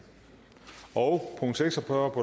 og fyrre